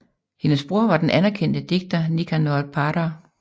Hendes bror var den anerkendte digter Nicanor Parra